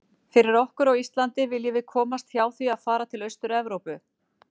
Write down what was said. Fyrir okkur á Íslandi viljum við komast hjá því að fara til Austur-Evrópu.